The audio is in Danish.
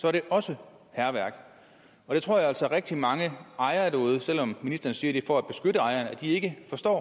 er det også hærværk det tror jeg altså at rigtig mange ejere derude selv om ministeren siger det er for at beskytte ejerne ikke forstår